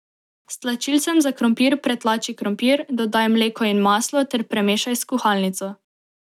S tlačilcem za krompir pretlači krompir, dodaj mleko in maslo ter premešaj s kuhalnico.